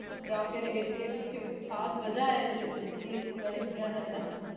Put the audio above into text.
ਜਾ ਫਿਰ ਇਸ ਦੇ ਪੀਚੀ ਕੋਈ ਖਾਸ ਵਾਜਾ ਆਏ ਏ ਇਸ ਲਿਯ ਇਸ ਨੂ ਗਨਤ ਕ੍ਯਾ ਜਾਂਦਾ